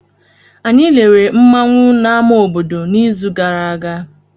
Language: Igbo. Anyị lere nmanwu na ama obodo n'izu gara aga.